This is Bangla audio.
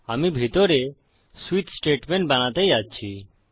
আমি ভিতরে সুইচ স্টেটমেন্ট বানাতে যাচ্ছি